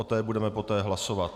O té budeme poté hlasovat.